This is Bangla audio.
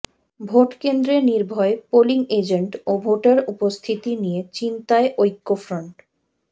ভোটকেন্দ্রে নির্ভয়ে পোলিং এজেন্ট ও ভোটার উপস্থিতি নিয়ে চিন্তায় ঐক্যফ্রন্ট